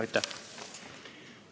Aitäh!